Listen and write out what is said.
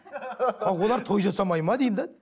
олар той жасамайды ма деймін де